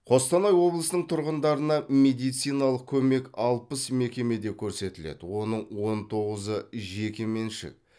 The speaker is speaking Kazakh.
қостанай облысының тұрғындарына медициналық көмек алпыс мекемеде көрсетіледі оның он тоғызы жеке меншік